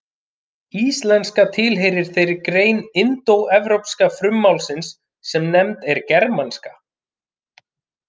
Íslenska tilheyrir þeirri grein indóevrópska frummálsins sem nefnd er germanska.